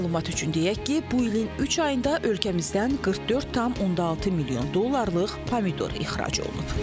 Məlumat üçün deyək ki, bu ilin üç ayında ölkəmizdən 44,6 milyon dollarlıq pomidor ixrac olunub.